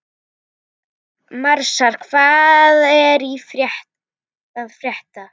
Marsa, hvað er að frétta?